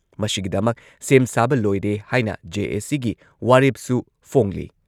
ꯃꯁꯤꯒꯤꯗꯃꯛ ꯁꯦꯝ ꯁꯥꯕ ꯂꯣꯏꯔꯦ ꯍꯥꯏꯅ ꯖꯦ.ꯑꯦ.ꯁꯤꯒꯤ ꯋꯥꯔꯦꯞꯁꯨ ꯐꯣꯡꯂꯤ ꯫